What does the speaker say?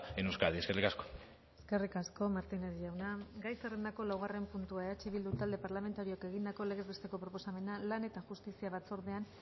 en euskadi eskerrik asko eskerrik asko martínez jauna gai zerrendako laugarren puntua eh bildu talde parlamentarioak egindako legez besteko proposamena lan eta justizia batzordean